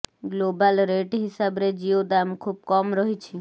global rate ହିସାବରେ ଜିଓ ଦାମ୍ ଖୁବ୍ କମ୍ ରହିଛି